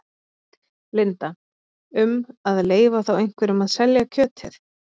Linda: Um að leyfa þá einhverjum að selja kjötið?